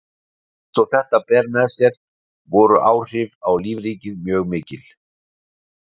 Eins og þetta ber með sér voru áhrif á lífríkið mjög mikil.